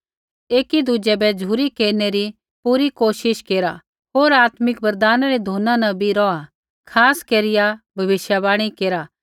एकी दुज़ै बै झ़ुरी केरनै री पूरी कोशिश केरा होर आत्मिक वरदाना री धुना न भी रौहा खास केरिया भविष्यवाणी केरा